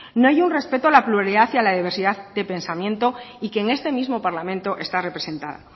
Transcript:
no hay un respeto a la pluralidad hacia la diversidad de pensamiento y que en este mismo parlamento está representada